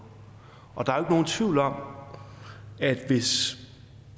og der er nogen tvivl om at hvis